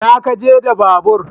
Ina kaje da babur?